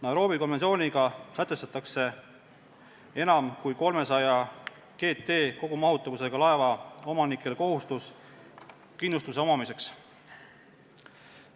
Nairobi konventsiooniga sätestatakse enam kui 300 kogumahutavusega laevade omanikele kohustus kindlustuse omamiseks.